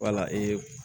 Wala ee